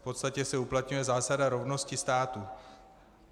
V podstatě se uplatňuje zásada rovnosti států.